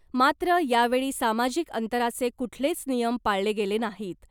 मात्र यावेळी सामाजिक अंतराचे कुठलेच नियम पाळले गेले नाहीत .